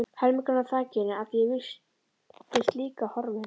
Helmingurinn af þakinu að því er virtist líka horfinn.